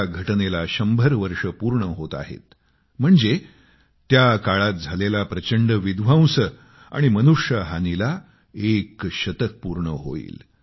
त्या घटनेस 100 वर्षे पूर्ण होत आहेत म्हणजे त्या काळात झालेला प्रचंड विध्वंस आणि मनुष्य हानीला एक शतक पूर्ण होईल